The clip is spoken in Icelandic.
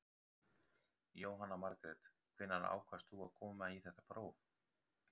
Jóhanna Margrét: Hvenær ákvaðst þú að koma í þetta próf?